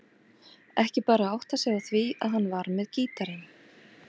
Ekki bara áttað sig á því að hann var með gítarinn.